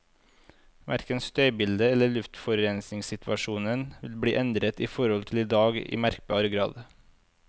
Hverken støybildet eller luftforurensningssituasjonen vil bli endret i forhold til i dag i merkbar grad.